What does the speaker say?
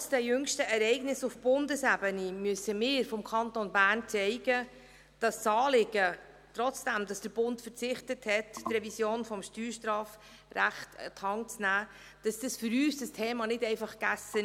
Trotz der jüngsten Ereignisse auf Bundesebene müssen wir vonseiten des Kantons Bern zeigen, dass dieses Thema für uns nicht einfach gegessen ist, auch wenn der Bund verzichtet hat, die Revision des Steuerstrafrechts an die Hand zu nehmen.